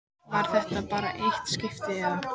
Var þetta bara eitt skipti, eða.